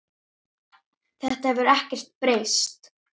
Þetta hefur ekkert breyst.